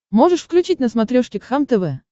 можешь включить на смотрешке кхлм тв